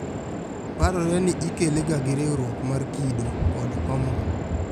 Parore ni ikele ga gi riuruok mar kido, kod homon